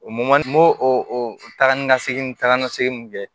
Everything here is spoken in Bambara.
O mɔn n m'o o taga ni ka segin ta ka segi mun kɛ